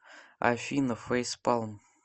афина фейспалм